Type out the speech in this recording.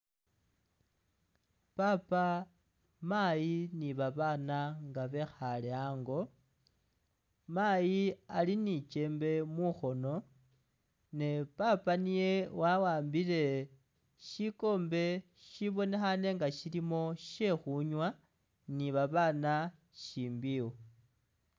Papa, mayi bana ngae bekhale ango mayi ali ni kyemebe mukhono ne papa niyewahambile skuhobe shibonekhne nga shilimo khe khunywa ni babana shimbiwo.